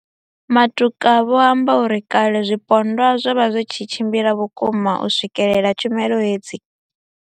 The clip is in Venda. Matuka vho amba uri kale zwipondwa zwo vha zwi tshi tshimbila vhukuma u swikelela tshumelo hedzi.